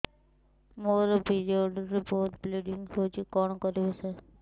ମୋର ପିରିଅଡ଼ ରେ ବହୁତ ବ୍ଲିଡ଼ିଙ୍ଗ ହଉଚି କଣ କରିବୁ ସାର